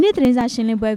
နေ့ သတင်းစာရှင်းလင်းပွဲ